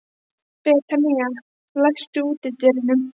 Betanía, læstu útidyrunum.